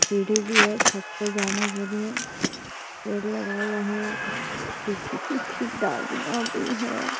सीढ़ी भी है छत पे जाने के लिए पेड़ लगा हुआ है कुछ सुखी-सुखी डालियां भी हैं।